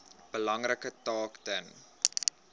belangrike taak ten